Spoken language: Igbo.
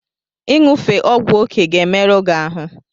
Ị ṅufe ọgwụ oke ga-emerụ gị ahụ.